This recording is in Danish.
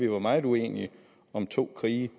var meget uenighed om to krige